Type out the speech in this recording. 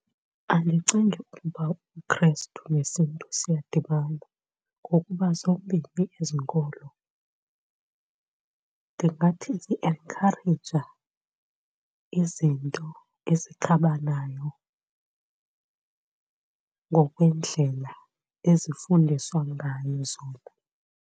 Andicingi ukuba ubuKrestu nesiNtu siyadibana ngokuba zombini ezi nkolo ndingathi zienkhayireja izinto ezikhabanayo ngokwendlela ezifundiswa ngayo zona.